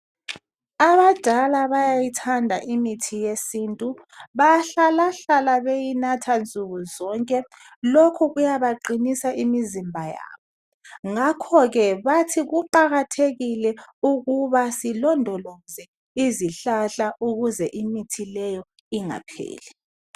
abadala bayayithanda imithi yesintu bayahlahla beyinatha nsuku zonke lokhu kuyabaqinisa imizimba yabo ngakho ke bathi kuqakatekile ukuba silondoloze izihlahla ukuze imithi leyo ingapheli